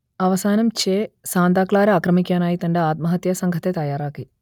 അവസാനം Che Santa Clara ആക്രമിക്കാനായി തന്റെ ആത്മഹത്യാ സംഘത്തെ തയ്യാറാക്കി